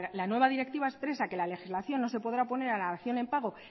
la nueva directiva expresa que la legislación no se podrá poner a la dación en pago